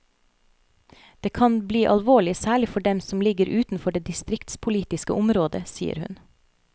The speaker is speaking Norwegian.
Det kan bli alvorlig særlig for dem som ligger utenfor det distriktspolitiske området, sier hun.